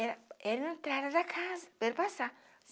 Era era a entrada da casa, para ele passar.